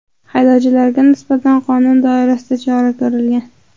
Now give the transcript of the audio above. Haydovchiga nisbatan qonun doirasida chora ko‘rilgan.